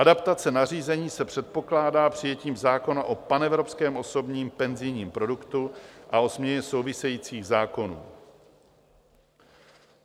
Adaptace nařízení se předpokládá přijetím zákona o panevropském osobním penzijním produktu a o změně souvisejících zákonů.